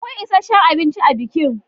Akwai isheshin abinci a bikin.